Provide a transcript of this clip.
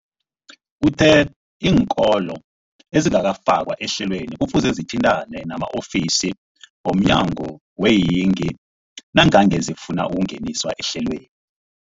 Uthe iinkolo ezingakafakwa ehlelweneli kufuze zithintane nama-ofisi wo mnyango weeyingi nangange zifuna ukungeniswa ehlelweni.